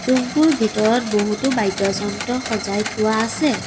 Room টোৰ ভিতৰত বহুতো বাদ্য যন্ত্ৰ সজাই থোৱা আছে।